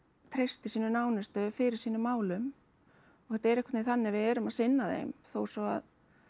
treysti sínum nánustu fyrir sínum málum og þetta er einhvern þannig að við erum að sinna þeim þó svo að